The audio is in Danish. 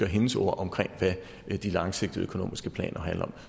og hendes ord om hvad de langsigtede økonomiske planer handler